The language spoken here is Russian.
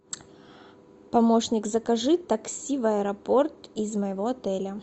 помощник закажи такси в аэропорт из моего отеля